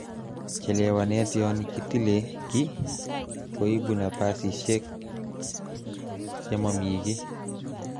chelewanet yon kitile kiy koibu napasisiek chemo m kiy.